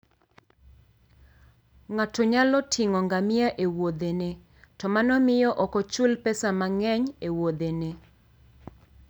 Ng'ato nyalo ting'o ngamia e Wuothene, to mano miyo ok ochul pesa mang'eny e Wuothene.